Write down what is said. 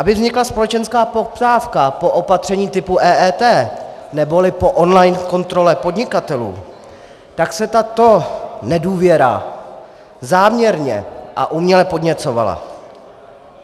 Aby vznikla společenská poptávka po opatření typu EET neboli po online kontrole podnikatelů, tak se tato nedůvěra záměrně a uměle podněcovala.